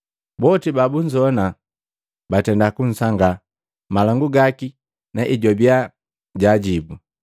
Boti babunzowana batenda kusangaa malangu gaki na ejwabia jaajibu.